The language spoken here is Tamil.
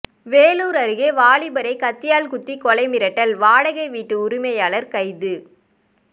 வேலூர் அருகே வாலிபரை கத்தியால் குத்தி கொலை மிரட்டல்வாடகை வீட்டு உரிமையாளர் கைது